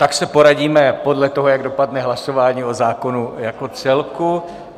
Tak se poradíme podle toho, jak dopadne hlasování o zákonu jako celku.